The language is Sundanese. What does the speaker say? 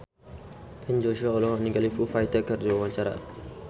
Ben Joshua olohok ningali Foo Fighter keur diwawancara